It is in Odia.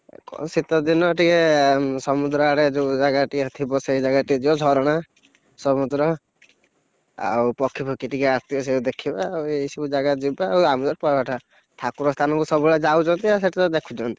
କଣ ଶୀତ ଦିନ ଟିକେ ସମୁଦ୍ର ଆଡେ ଯୋଉ ଜାଗା ଟିଆଥିବ ସେଇ ଜାଗା ଟିକେ ଯିବ ଝରଣା, ସମୁଦ୍ର! ଆଉ ପକ୍ଷୀଫକ୍ଷୀ ଟିକେ ଆସିବେ ସେୟାକୁ ଦେଖିବା ଆଉ ଏଇ ସବୁ ଜାଗା ଯିବା ଆଉ ଆମେତ ଠାକୁର ସ୍ଥାନକୁ ସବୁବେଳେ ଯାଉଛନ୍ତି ଆଉ ସେଠିତ ଦେଖୁଛନ୍ତି।